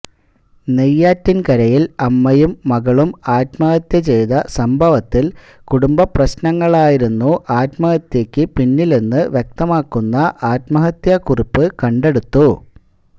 നെയ്യാറ്റിന്കരയില് അമ്മയും മകളും ആത്മഹത്യ ചെയ്ത സംഭവത്തിൽ കുടുംബ പ്രശ്നങ്ങളായിരുന്നു ആത്മഹത്യക്ക് പിന്നില്ലെന്ന് വ്യക്തമാക്കുന്ന ആത്മഹത്യാ കുറിപ്പ് കണ്ടെടുത്തു